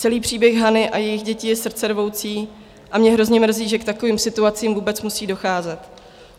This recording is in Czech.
Celý příběh Hany a jejích děti je srdcervoucí a mě hrozně mrzí, že k takovým situacím vůbec musí docházet.